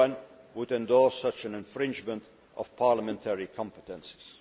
No one would endorse such an infringement of parliamentary competences.